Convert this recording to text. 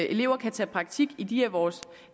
elever kan tage praktik i de af vores